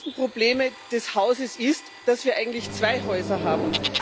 Eines der größten Probleme des Hauses ist, dass wir eigentlich zwei Häuser haben.